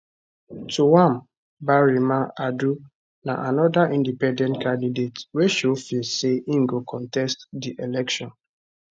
twum barima adu na anoda independent candidate wey show face say im go contest di election